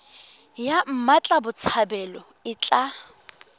ya mmatla botshabelo e tla